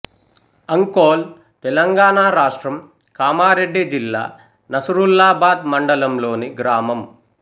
అంకోల్ తెలంగాణ రాష్ట్రం కామారెడ్డి జిల్లా నసురుల్లాబాద్ మండలంలోని గ్రామం